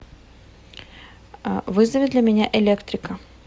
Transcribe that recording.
вызови для меня электрика